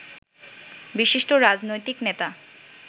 বিশিষ্ট রাজনৈতিক নেতা